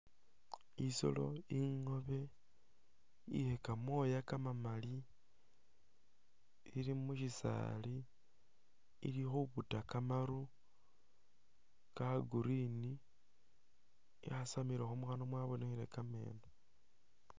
Isolo ingobe iye kamoya kamamali ili mushisali ili khubuta kamaru ka green yasamilekho mukhanwa mwabonekhe kemeno .